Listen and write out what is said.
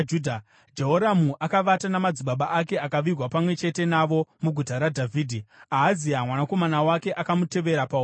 Jehoramu akavata namadzibaba ake akavigwa pamwe chete navo muguta raDhavhidhi. Ahazia mwanakomana wake akamutevera paumambo.